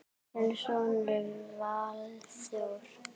Þinn sonur Valþór.